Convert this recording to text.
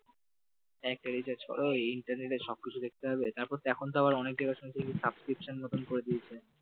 একটা recharge কর ইন্টারনেটে সব কিছু দেখতে পাবে তারপর এখন তা আবার অনেক জায়গা শুনছি subscription এর মতন করে দিয়েছে